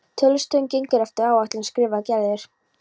Tollstöðin gengur eftir áætlun skrifar Gerður.